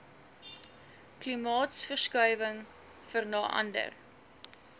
klimaatsverskuiwinhg vera nder